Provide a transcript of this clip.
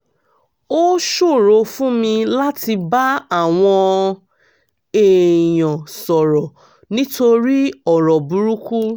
ó ṣòro fún mi láti bá àwọn èèyàn sọ̀rọ̀ nítorí ọ̀rọ̀ burúkú